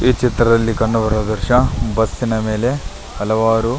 ಈ ಚಿತ್ರದಲ್ಲಿ ಕಂಡುಬರುವ ದೃಶ್ಯ ಬಸ್ಸಿನ ಮೇಲೆ ಹಲವಾರು --